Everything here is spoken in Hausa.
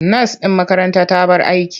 Nas ɗin makaranta ta bar aiki.